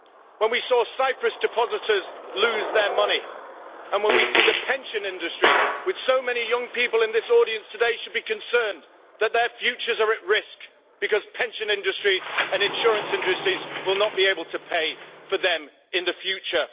When we saw Cyprus depositors lose their money, and when we see the pension industry, the many young people in this audience today should be concerned that their futures are at risk because pension industries and insurance industries will not be able to pay for them in the future.